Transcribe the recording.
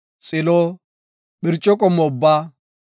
xilo, phirco qommo ubbaa,